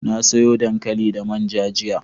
na soya dankali da manja jiya